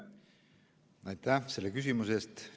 Aitäh selle küsimuse eest!